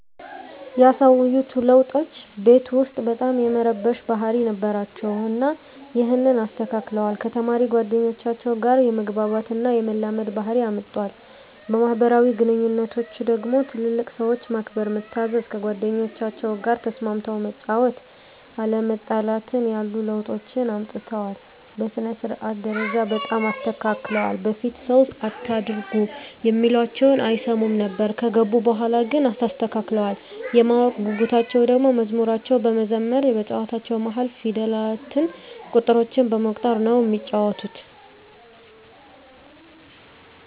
ያሳዩት ለዉጦች ቤት ዉስጥ በጣም የመረበሽ ባህሪ ነበራቸዉ እና ይሀንን አስተካክለዋል፣ ከተማሪ ጓደኞቻቸዉ ጋ የመግባባት እና የመላመድ ባህሪ አምጠዋል። በማህበራዊ ግንኙነቶች ደግሞ ትልልቅ ሰዎችን ማክበር፣ መታዘዝ፣ ከጓደኞቻቸዉ ጋ ተስማምተህ መጫወት፣ አለመጣላትን ያሉ ለዉጦችን አምጥተዋል። በሥነ-ስርዓት ደረጃ በጣም ተስተካክለዋል በፊት ሰዉ አታርጉ እሚላቸዉን አይሰሙም ነበር ከገቡ በኋላ ግን ተስተካክለዋል። የማወቅ ጉጉታቸዉ ደሞ መዝሙሮችን በመዘመር በጨዋታዎች መሀል ፊደላትን፣ ቁጥሮችን በመቁጠር ነዉ እሚጫወቱት።